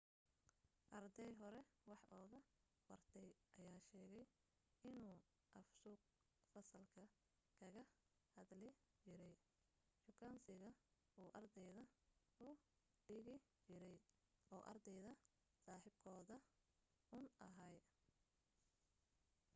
arday hore wax uga bartay ayaa sheegay inuu af suuq fasalka kaga hadli jiray shukaansiga uu ardayda u dhigi jiray oo ardayda saaxiibkood uun ahaa